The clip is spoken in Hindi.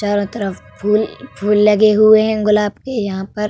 चारों तरफ फूल फूल लगे हुए हैं गुलाब के यहाँ पर।